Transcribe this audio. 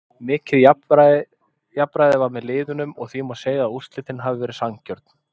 Mikið jafnræði var með liðunum og því má segja að úrslitin hafi verið sanngjörn.